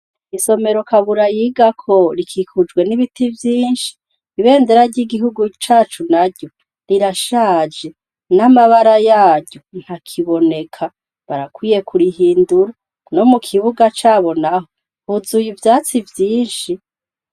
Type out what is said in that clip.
Isomero Kabura yigako rikikujwe n'ibiti vyinshi, ibendera ry'igihugu cacu naryo rirashaje n'amabara yaryo ntakiboneka ,barakwiye kurihindura, no mukibuga caho naco huzuye ivyatsi vyinshi.